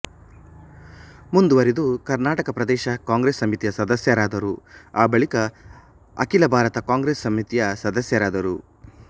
ಮುಂದುವರಿದು ಕರ್ನಾಟಕ ಪ್ರದೇಶ ಕಾಂಗ್ರೆಸ್ ಸಮಿತಿಯ ಸದಸ್ಯರಾದರು ಆಬಳಿಕ ಅಖಿಲ ಭಾರತ ಕಾಂಗ್ರೆಸ್ ಸಮಿತಿಯ ಸದಸ್ಯರಾದರು